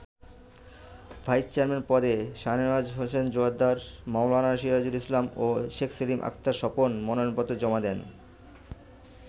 Vice chairman পদে শাহনেওয়াজ হোসেন জোয়ার্দ্দার, মাওলানা সিরাজুল ইসলাম ও শেখ সেলিম আক্তার স্বপন মনোনয়নপত্র জমা দেন।